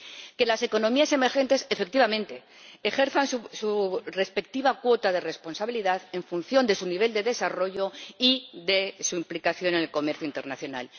que las economías emergentes efectivamente ejerzan su respectiva cuota de responsabilidad en función de su nivel de desarrollo y de su implicación en el comercio internacional